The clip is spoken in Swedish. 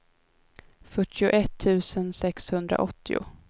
fyrtioett tusen sexhundraåttio